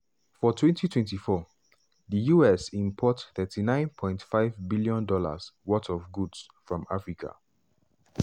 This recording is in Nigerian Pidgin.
for 2024 di us import $39.5bn-worth of goods from africa.